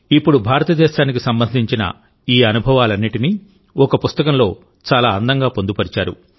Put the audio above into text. ఇప్పుడు భారతదేశానికి సంబంధించిన ఈ అనుభవాలన్నింటినీ ఒక పుస్తకంలో చాలా అందంగా పొందుపరిచారు